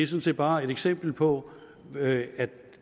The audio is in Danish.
set bare et eksempel på at